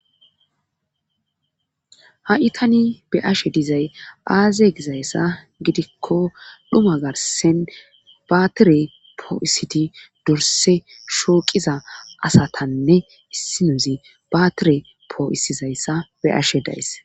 ha7i tani be ashe dizay aaze gizayssa gidikko dhuma garsen baatire poo7isiti dorse shooqiza asatanne hissinozi baatire poo7isizayssa be ashe days